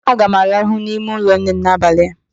Aga m araha n'ime ụlọ nnem n'abalị a